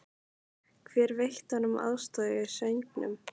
Hver veitti honum aðstoð í söngnum?